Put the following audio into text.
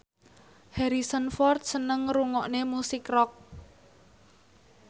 Harrison Ford seneng ngrungokne musik rock